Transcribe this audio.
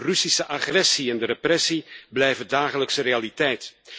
De Russische agressie en de repressie blijven dagelijkse realiteit.